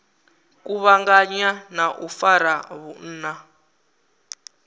kuvhanganya na u fara vhunna